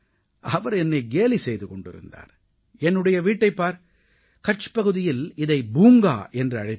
அவர் என்னை கேலி செய்து கொண்டிருந்தார் என்னுடைய வீட்டைப் பார் கட்ச் பகுதியில் இதை பூங்கா என்று அழைப்பார்கள்